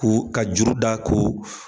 K'o ka juru da k'o